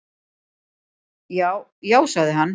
"""Já, já sagði hann."""